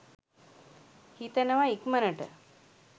හිතනව ඉක්මනට